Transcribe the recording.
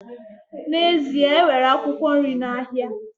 N'ezie, e nwere akwụkwọ nri n'ahịa